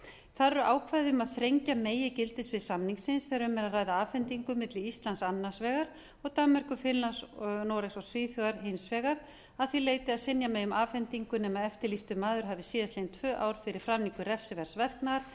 þar eru ákvæði um að þrengja megi gildissvið samningsins þegar um er að ræða afhendingu milli íslands annars vegar og danmerkur finnlands noregs og svíþjóðar hins vegar að því leyti að synja megi um afhendingu nema eftirlýstur maður hafi síðastliðin tvö ár fyrir framningu refsiverðs verknaðar